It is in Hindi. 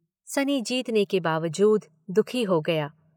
सनी जीतने के बावजूद दुखी हो गया।